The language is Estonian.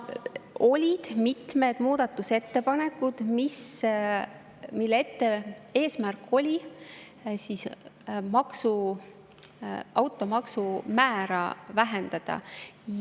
Olid mitmed muudatusettepanekud, mille eesmärk oli automaksu määra vähendada.